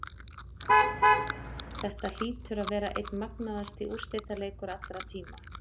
Þetta hlýtur að vera einn magnaðasti úrslitaleikur allra tíma.